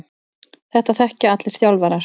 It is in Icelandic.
Þetta þekkja allir þjálfarar.